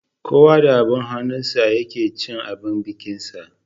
Kowa da abin hannunsa ya ke cin abin bakinsa.